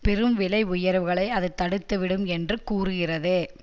பெரும் விலை உயர்வுகளை அது தடுத்து விடும் என்று கூறுகிறது